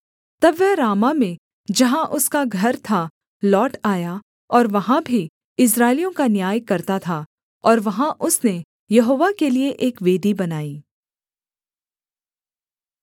तब वह रामाह में जहाँ उसका घर था लौट आया और वहाँ भी इस्राएलियों का न्याय करता था और वहाँ उसने यहोवा के लिये एक वेदी बनाई